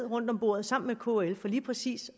rundt om bordet sammen med kl for lige præcis